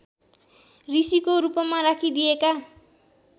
ऋषीको रूपमा राखिदिएका